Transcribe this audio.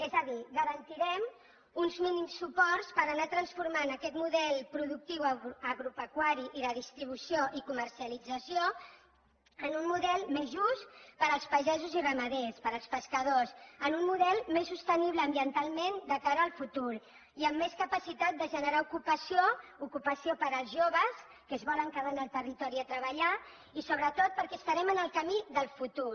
és a dir garantirem uns mínims suports per anar transformant aquest model productiu agropecuari i de distribució i comercialització en un model més just per als pagesos i ramaders per als pescadors en un model més sostenible ambientalment de cara al futur i amb més capacitat de generar ocupació ocupació per als joves que es volen quedar en el territori a treballar i sobretot perquè estarem en el camí del futur